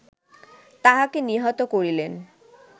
তাহাকে নিহত করিলেন